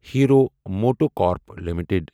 hero MotoCorp limited